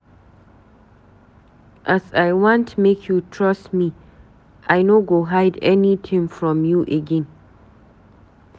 As I want make you trust me, I no go hide anytin from you again.